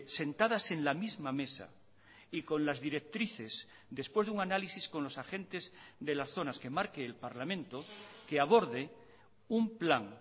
sentadas en la misma mesa y con las directrices después de un análisis con los agentes de las zonas que marque el parlamento que aborde un plan